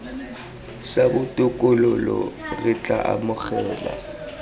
sa botokololo re tla amogela